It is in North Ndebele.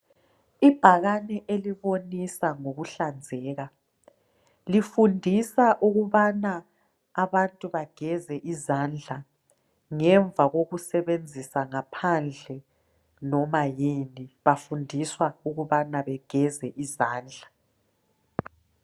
Ibhakane elibonisa ngokuhlanzeka lifundisa ukubana abantu bageze izandla ngemva kokusebenzisa ngaphandle noma yini bafundiswa ukubana begeze izandla